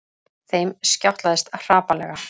Þeim skjátlaðist hrapallega.